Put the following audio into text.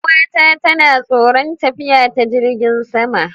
Yar'uwata tana tsoron tafiya ta jirigin sama.